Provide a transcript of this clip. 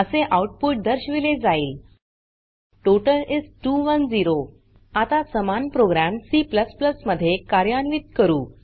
असे आउटपुट दर्शविले जाईल टोटल इस 210 आता समान प्रोग्राम C मध्ये कार्यान्वीत करू